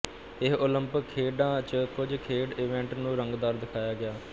ਇਹ ਓਲੰਪਿਕ ਖੇਡਾਂ ਚ ਕੁਝ ਖੇਡ ਈਵੈਂਟ ਨੂੰ ਰੰਗਦਾਰ ਦਿਖਾਇਆ ਗਿਆ